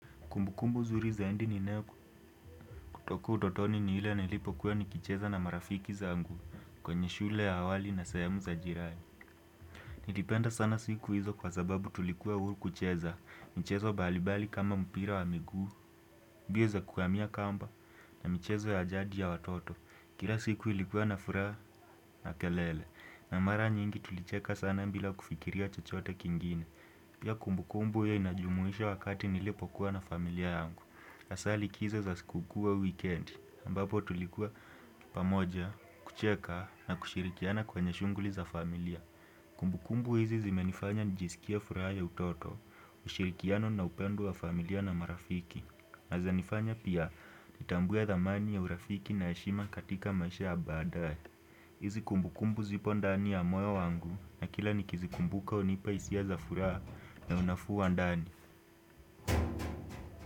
Kumbukumbu nzuri zaidi ninayoku kutoka utotoni ni ile nilipokuwa nikicheza na marafiki zangu kwenye shule ya awali na sehemu za jirani. Nilipenda sana siku hizo kwa sababu tulikuwa huru kucheza, michezo mbalimbali kama mpira wa miguu, mbio za kuwamia kamba na michezo ya jadi ya watoto. Kila siku ilikuwa na furaha na kelele na mara nyingi tulicheka sana bila kufikiria chochote kingine. Pia kumbukumbu hio inajumuisha wakati nilipokuwa na familia yangu. Hasaa likizo za siku kuu au wikendi, ambapo tulikuwa pamoja, kucheka na kushirikiana kwenye shughuli za familia. Kumbukumbu hizi zimenifanya nijisikie furaha ya utoto, ushirikiano na upendo wa familia na marafiki. Na zanifanya pia, nitambue dhamani ya urafiki na heshima katika maisha ya baadae. Hizi kumbukumbu zipo ndani ya moyo wangu na kila nikizikumbuka hunipa hisia za furaha na unafuu wa ndani.